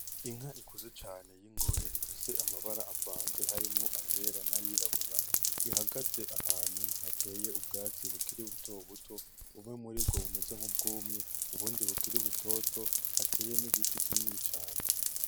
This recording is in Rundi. Inka ikuze cane y'ingore ifise amabara avanze harimwo ayera n'ayirabura, ihagaze ahantu hateye ubwatsi bukiri buto buto, bumwe muri bwo bumeze nk'ubwumye; ubundi bukiri butoto, hateye n'igiti kinini cane.